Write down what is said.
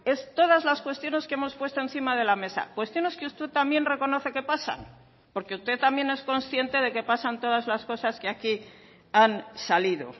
es todas las cuestiones que hemos puesto encima de la mesa cuestiones que usted también reconoce que pasan porque usted también es consciente de que pasan todas las cosas que aquí han salido